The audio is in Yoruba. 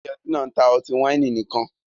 Ilé ọtí náà ń ta ọtí wáìnì nìkan